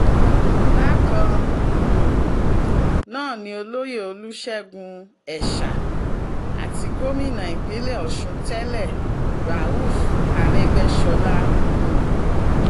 bákan um náà ni olóyè olùṣègùn ẹ̀sà àti gómìnà ìpínlẹ̀ ọ̀sùn tẹ́lẹ̀ rauf arégbèsọlá um